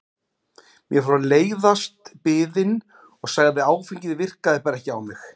Mér fór að leiðast biðin og sagði að áfengið virkaði bara ekki á mig.